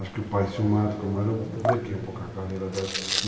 Acho que o pai, ciumado como eu era, eu brequei um pouco a carreira dela.